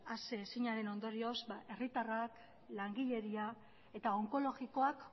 aseezinaren ondorioz herritarrak langileria eta onkologikoak